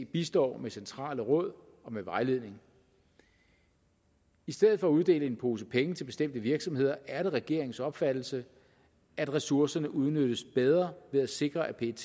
bistår med centrale råd og med vejledning i stedet for at uddele en pose penge til bestemte virksomheder er det regeringens opfattelse at ressourcerne udnyttes bedre ved at sikre at pet